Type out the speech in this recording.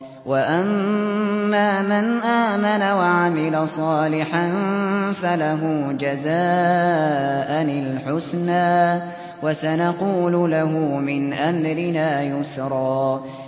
وَأَمَّا مَنْ آمَنَ وَعَمِلَ صَالِحًا فَلَهُ جَزَاءً الْحُسْنَىٰ ۖ وَسَنَقُولُ لَهُ مِنْ أَمْرِنَا يُسْرًا